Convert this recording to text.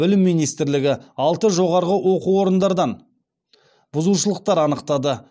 білім министрлігі алты жоғарғы оқу орындардан бұзушылықтар анықтады